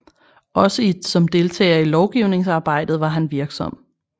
Også som deltager i lovgivningsarbejdjet var han virksom